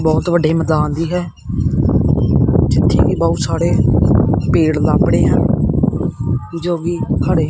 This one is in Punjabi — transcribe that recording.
ਬਹੁਤ ਵੱਡੇ ਮੈਦਾਨ ਦੀ ਹੈ ਜਿੱਥੇ ਕਿ ਬਹੁਤ ਸਾੜੇ ਪੇੜ ਲੱਭੜੇ ਆ ਜੋ ਕਿ ਹੜੇ --